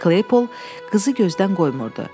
Kleypol qızı gözdən qoymurdu.